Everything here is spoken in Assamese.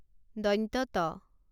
ত